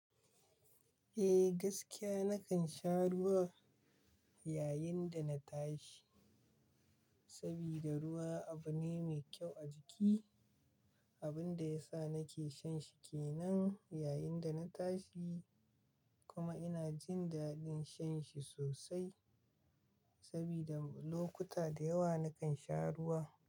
Eh, gaskiya nakan sha ruwa yayin da na tashi sabida ruwa abu ne mai kyau a jiki, abin da yasa nake shan shi kenan yayin da na tashi. Kuma ina jin daɗin shan shi sosai saboda lokuta da yawa nakan sha ruwa.